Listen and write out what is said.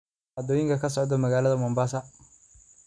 dhacdooyinka ka socda magaalada mombasa